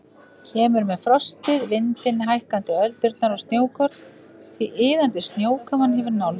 Kemur með frostið, vindinn, hækkandi öldurnar og snjókorn því iðandi snjókoman hefur nálgast.